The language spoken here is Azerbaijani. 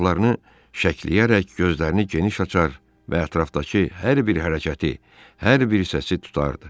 qulaqlarını şəkləyərək gözlərini geniş açar və ətrafdakı hər bir hərəkəti, hər bir səsi tutardı.